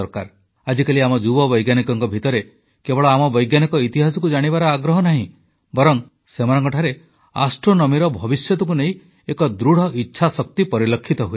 ଆଜିକାଲି ଆମ ଯୁବ ବୈଜ୍ଞାନିକଙ୍କ ଭିତରେ କେବଳ ଆମ ବୈଜ୍ଞାନିକ ଇତିହାସକୁ ଜାଣିବାର ଆଗ୍ରହ ନାହିଁ ବରଂ ସେମାନଙ୍କଠାରେ ଆଷ୍ଟ୍ରୋନମୀର ଭବିଷ୍ୟତକୁ ନେଇ ଏକ ଦୃଢ଼ ଇଚ୍ଛାଶକ୍ତି ପରିଲକ୍ଷିତ ହୁଏ